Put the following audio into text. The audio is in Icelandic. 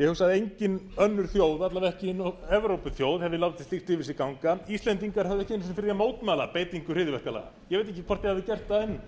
ég hugsa að engin önnur þjóð alla vega ekki evrópuþjóð hefði látið slíkt yfir sig ganga íslendingar höfðu ekki ekki einu sinni fyrir því að mótmæla beitingu hryðjuverkalaganna ég veit ekki hvort þið hafið gert það